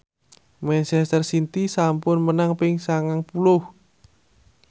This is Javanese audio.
manchester city sampun menang ping sangang puluh